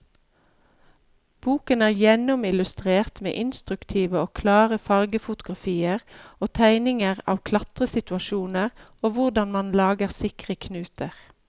Boken er gjennomillustrert med instruktive og klare fargefotografier og tegninger av klatresituasjoner og hvordan man lager sikre knuter.